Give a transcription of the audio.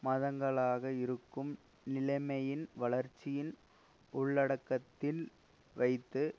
மாதங்களாக இருக்கும் நிலைமையின் வளர்ச்சியின் உள்ளடக்கத்தில் வைத்து